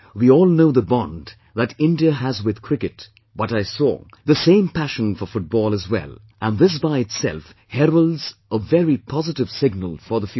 We all know the bond that India has with Cricket, but I saw the same passion for Football as well, and this by itself heralds a very positive signal for the future